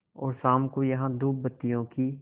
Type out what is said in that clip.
और शाम को यहाँ धूपबत्तियों की